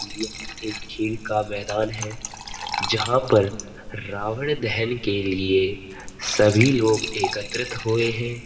यहाँ एक झील का मैदान है जहाँ पर रावण दहेन के लिए सभी लोग एकत्रित हुए हैं।